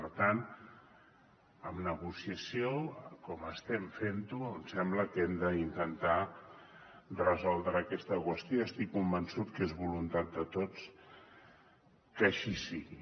per tant amb negociació com estem fent ho em sembla que hem d’intentar resoldre aquesta qüestió i estic convençut que és voluntat de tots que així sigui